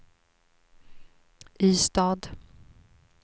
Ystad